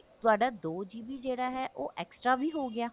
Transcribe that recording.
ਤੁਹਾਡਾ ਦੋ GB ਜਿਹੜਾ ਹੈ ਉਹ extra ਵੀ ਹੋਗਿਆ